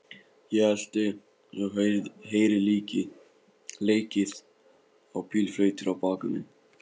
Ég elti, og heyri leikið á bílflautur á bakvið mig.